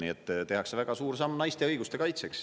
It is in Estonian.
Nii et tehakse väga suur samm naiste õiguste kaitseks.